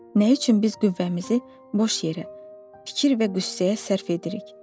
Nə üçün biz qüvvəmizi boş yerə fikir və qüssəyə sərf edirik?